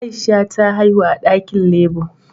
Aisha ta haihu a dakin labour